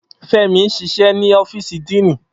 Femi n ṣiṣẹ ni ọfiisi Dean.